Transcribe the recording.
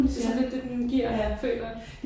Det sådan lidt det den giver føler jeg